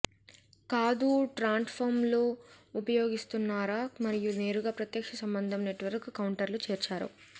కాదు ట్రాన్స్ఫార్మర్లు ఉపయోగిస్తున్నారా మరియు నేరుగా ప్రత్యక్ష సంబంధం నెట్వర్క్ కౌంటర్లు చేర్చారు